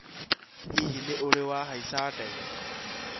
Hihi nĩ ũrĩ wahaĩca ndege?